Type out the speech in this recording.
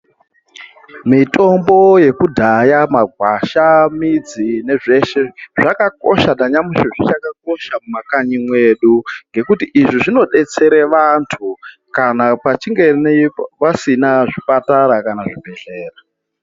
Mitombo yekudhaya magwasha, midzi nezveshe zvakakosha nanyamushi zvichakakosha mumakanyi mwedu ngekuti izvi zvinodetsere vantu kana pachinge pasina zvipatara kana zvibhehlera.